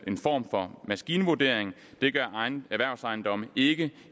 en form for maskinvurdering det gør erhvervsejendomme ikke